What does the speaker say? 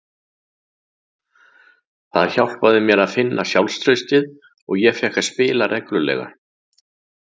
Það hjálpaði mér að finna sjálfstraustið og ég fékk að spila reglulega.